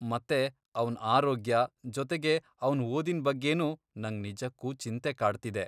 ಮತ್ತೆ ಅವ್ನ್ ಆರೋಗ್ಯ, ಜೊತೆಗೆ ಅವ್ನ್ ಓದಿನ್ ಬಗ್ಗೆನೂ ನಂಗ್ ನಿಜಕ್ಕೂ ಚಿಂತೆ ಕಾಡ್ತಿದೆ.